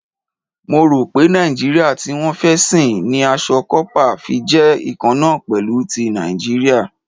Mo rò pé Nàìjíríà tí wọ́n fẹ́ sìn ni aṣọ kópa fi jẹ́ ikanna pẹ̀lú ti Nàìjíríà.